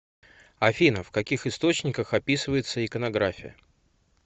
афина в каких источниках описывается иконография